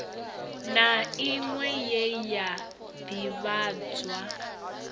na inwe ye ya divhadzwa